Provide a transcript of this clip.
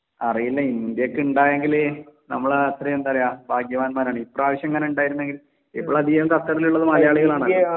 അറിയില്ല ഇന്ത്യക്ക് ഉണ്ടായെങ്കിൽ നമ്മൾ അത്രേം എന്താ പറയെ ഭാഗ്യവാന്മാർ അല്ലെ ഇപ്രാവിശ്യം ഇങ്ങനെ ഉണ്ടായിരുനെങ്കിൽ. ഇപ്പൊ അധികം ഖത്തറിൽ ഉള്ളത് മലയാളികൾ ആണല്ലോ